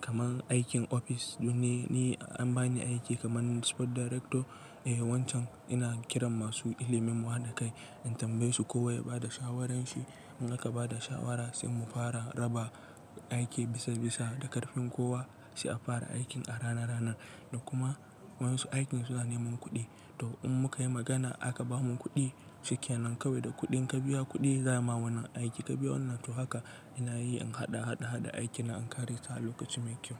kaman aikin office domin ni an ba ni aiki kaman sport director, eh wancan ina kiran masu ilimin wayar da kai, in tambaye su kowa ya ba da shawarar shi. In aka ba da shawara sai mu fara raba aiki bisa bisa da ƙarfin kowa, sai a fara aikin a rana rana. Da kuma wansu aikin su zuwa neman kuɗi. To in muka yi magana aka ba mu kuɗi, shikenan kawai da kuɗin ka biya kuɗi za a yi ma wannan aiki ka biya wannan. To haka ina yi in haɗa, haɗa, haɗa aiki na in ƙare sa a lokaci mai kyau.